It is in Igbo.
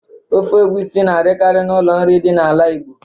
Ofe ogbusi na adikari na ụlọ nri dị na ala Igbo.